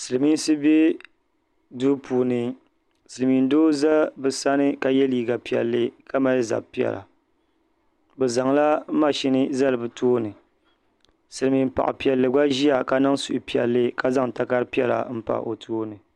Silmiinsi be duu puuni silmiin doo ʒɛ bi sani ka yɛ liiga piɛlli ka.mali zab piɛla bi zaŋla machine zali bi tooni silmiin paɣa piɛlli. gba ʒiya ka niŋ suhuiɛlli ka zaŋ takari piɛla n pa o tooni